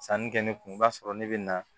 Sanni kɛ ne kun i b'a sɔrɔ ne bɛ na